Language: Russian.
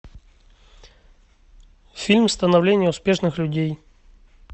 фильм становление успешных людей